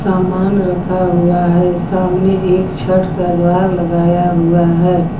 सामान रखा हुआ है सामने एक छठ का द्वारा लगाया हुआ है।